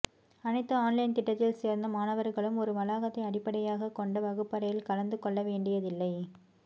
அனைத்து ஆன்லைன் திட்டத்தில் சேர்ந்த மாணவர்களும் ஒரு வளாகத்தை அடிப்படையாகக் கொண்ட வகுப்பறையில் கலந்து கொள்ள வேண்டியதில்லை